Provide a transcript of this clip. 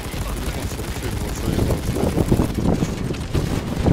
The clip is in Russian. телефон сорок семь двадцать один двадцать пять пополнить на двести рублей